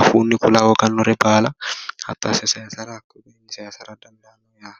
afuunni kula hooganore baala hatto asse sayisara koi'iiwini saysara danidaano